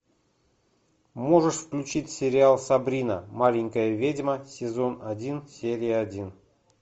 можешь включить сериал сабрина маленькая ведьма сезон один серия один